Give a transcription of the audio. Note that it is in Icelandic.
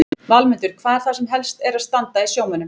Valmundur, hvað er það sem helst er að standa í sjómönnum?